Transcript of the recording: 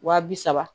Wa bi saba